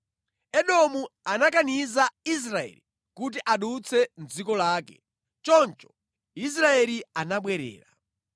Edomu anakaniza Israeli kuti adutse mʼdziko lake, choncho Israeli anabwerera.